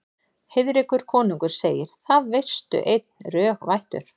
Heiðrekur konungur segir: Það veistu einn, rög vættur